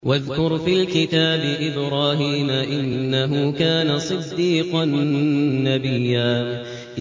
وَاذْكُرْ فِي الْكِتَابِ إِبْرَاهِيمَ ۚ إِنَّهُ كَانَ صِدِّيقًا نَّبِيًّا